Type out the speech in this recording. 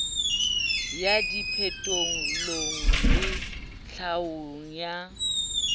ya diphetolelo le tlhaolo ya